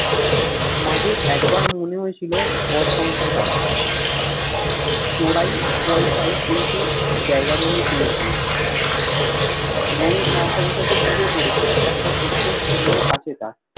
মাঝে একবার মনে হয়েছিল ঘর সংসার করা চরাই পয়সায় কিছু জায়গা জমি কিনেছিল এবং তার ফলে বিয়েও করেছিল একটা ছোট্ট ছেলেও আছে তার